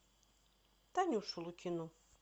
танюшу лукину